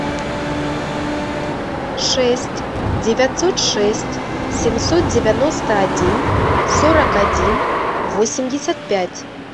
шесть девятьсот шесть семьсот девяносто один сорок один восемьдесят пять